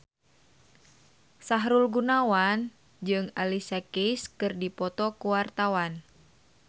Sahrul Gunawan jeung Alicia Keys keur dipoto ku wartawan